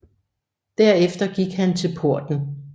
Der efter gik han til porten